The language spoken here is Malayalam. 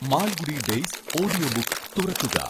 മാൽഗുഡി ഡേയ്സ് ഓഡിയോബുക്ക് തുറക്കുക